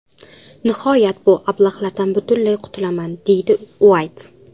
Nihoyat bu ablahlardan butunlay qutulaman”, deydi Uayt.